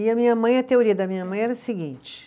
E a minha mãe, a teoria da minha mãe era a seguinte.